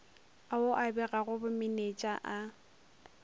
ao a begago bomenetša a